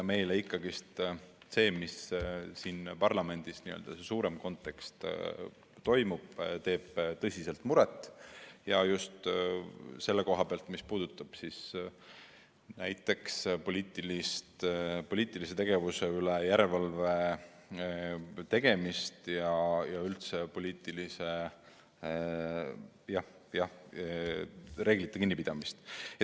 Meile ikkagi see, mis siin parlamendis toimub, n-ö see suurem kontekst, teeb tõsiselt muret ja just selle koha pealt, mis puudutab poliitilise tegevuse üle järelevalve tegemist ja üldse poliitikareeglitest kinnipidamist.